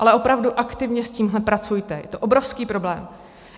Ale opravdu aktivně s tímhle pracujte, je to obrovský problém.